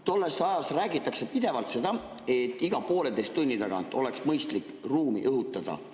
Tollest ajast räägitakse pidevalt seda, et iga pooleteise tunni tagant oleks mõistlik ruumi õhutada.